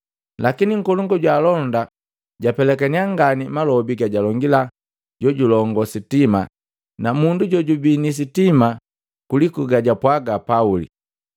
Lakini nkolongu jwa alonda jaa pelakania ngani malobi gajalongila jojulongoo sitima na mundu jojubii ni sitima kuliku gajapwaga Pauli.